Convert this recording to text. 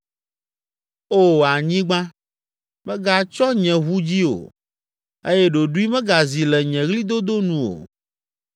“O, anyigba, mègatsyɔ nye ʋu dzi o eye ɖoɖoe megazi le nye ɣlidodo nu o!